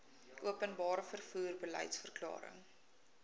openbare vervoer beliedsverklaring